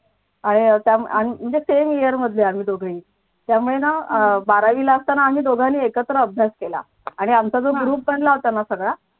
आणि अह त्या म्हणजे same year मधले आम्ही दोघही त्यामुळे ना बारावीला असताना आम्ही दोघांनी एकत्र अभ्यास केला आणि आमचा जो ग्रुप मला होता ना सगळा